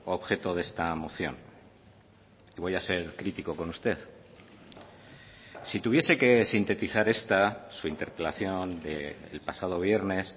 objeto de esta moción voy a ser crítico con usted si tuviese que sintetizar esta su interpelación del pasado viernes